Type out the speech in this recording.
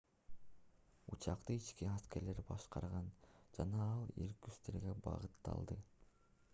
учакты ички аскерлер башкарган жана ал иркутскиге багытталды